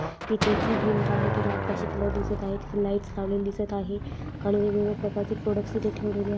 तिथे जी भिंत आहे तिला आकाशी कलर दिसत आहे लाइट लावलेली दिसत आहे आणि वेगवेगल्या प्रकारचे प्रॉडक्टस तीथे ठेवलेल्या आहेत.